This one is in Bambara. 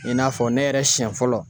I n'a fɔ ne yɛrɛ siɲɛ fɔlɔ